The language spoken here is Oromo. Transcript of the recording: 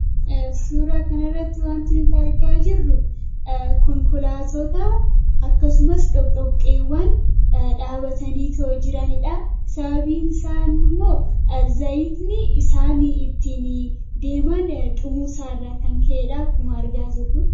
Suura kana irratti waanti nuti argaa jirru konkolaattota akkasumas Doqdoqqeewwan dhaabatanii itoo jiraniidha. Sababbiin isaa immoo Zayitni isaan ittiin deeman dhumuu isaa irraa kan ka'edha. Akkuma argaa jirru.